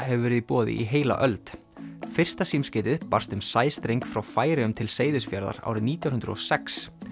hefur verið í boði í heila öld fyrsta símskeytið barst um sæstreng frá Færeyjum til Seyðisfjarðar árið nítján hundruð og sex